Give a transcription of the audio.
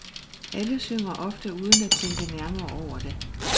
Alle synger, ofte uden at tænke nærmere over det.